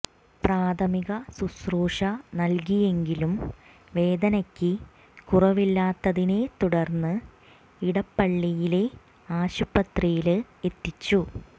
പ്രാഥമിക ശുശ്രൂഷ നല്കിയെങ്കിലും വേദനയ്ക്ക് കുറവില്ലാത്തതിനെ തുടര്ന്ന് ഇടപ്പളളിയിലെ ആശുപത്രിയില് എത്തിച്ചു